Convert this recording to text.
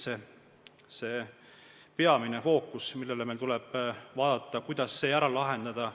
See on peamine fookus, millele meil tuleb keskenduda ja mõelda, kuidas see ära lahendada.